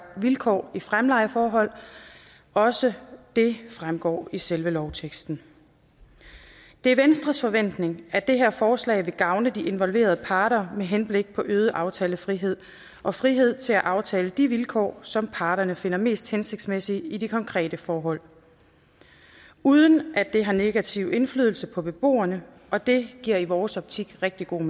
vilkår i fremlejeforhold også det fremgår af selve lovteksten det er venstres forventning at det her forslag vil gavne de involverede parter med henblik på øget aftalefrihed og frihed til at aftale de vilkår som parterne finder mest hensigtsmæssige i de konkrete forhold uden at det har negativ indflydelse på beboerne og det giver i vores optik rigtig god